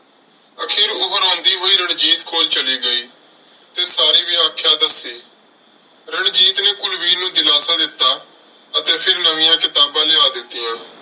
ਆਖਿਰ ਉਹ ਰੋਂਦੀ ਹੋਈ ਰਣਜੀਤ ਕੋਲ ਚਲੀ ਗਈ ਤੇ ਸਾਰੀ ਵਿਆਖਿਆ ਦੱਸੀ। ਰਣਜੀਤ ਨੇ ਕੁਲਵੀਰ ਨੂੰ ਦਿਲਾਸਾ ਦਿੱਤਾ ਅਤੇ ਫਿਰ ਨਵੀਆਂ ਕਿਤਾਬਾਂ ਲਿਆ ਦਿੱਤੀਆਂ